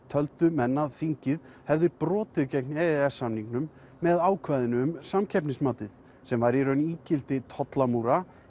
töldu menn þingið hafa brotið gegn e e s samningnum með ákvæðinu um samkeppnismatið sem væri í raun ígildi tollamúra